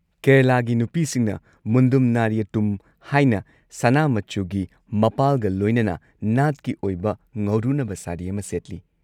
ꯀꯦꯔꯂꯥꯒꯤ ꯅꯨꯄꯤꯁꯤꯡꯅ ꯃꯨꯟꯗꯨꯝ ꯅꯥꯔꯤꯌꯨꯠꯇꯨꯝ ꯍꯥꯢꯅ, ꯁꯅꯥ ꯃꯆꯨꯒꯤ ꯃꯄꯥꯜꯒ ꯂꯣꯏꯅꯅ ꯅꯥꯠꯀꯤ ꯑꯣꯏꯕ ꯉꯧꯔꯨꯅꯕ ꯁꯥꯔꯤ ꯑꯃ ꯁꯦꯠꯂꯤ꯫